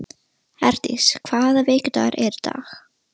Herdís, hvaða vikudagur er í dag?